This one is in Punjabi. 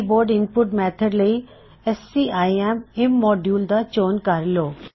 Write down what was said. ਕੀਬੋਡ ਇਨਪੁਟ ਮੇਥਡ ਲਈ scim ਇਮੋਡਿਊਲ ਦਾ ਚੋਣ ਕਰ ਲੋ